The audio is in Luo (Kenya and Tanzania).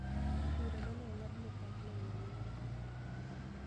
Bura ma ne ong'ad ne Park nomiyo nyinge okethore